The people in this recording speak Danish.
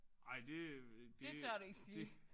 Ej det det det